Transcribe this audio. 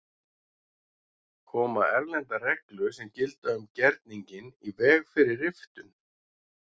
Koma erlendar reglur sem gilda um gerninginn í veg fyrir riftun?